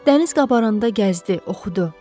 Dəniz qabaranda gəzdi, oxudu.